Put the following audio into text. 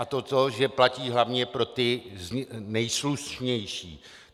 A to, že platí hlavně pro ty nejslušnější.